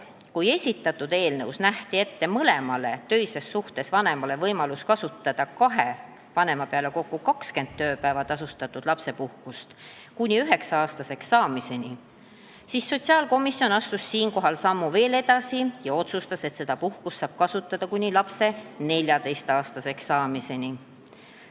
Kui esitatud eelnõus nähti mõlemale töises suhtes vanemale ette võimalus kasutada kahe vanema peale kokku 20 tööpäeva tasustatud lapsepuhkust kuni lapse üheksa-aastaseks saamiseni, siis sotsiaalkomisjon astus siinkohal sammu edasi ja otsustas, et seda puhkust saab kasutada kuni lapse 14-aastaseks saamiseni.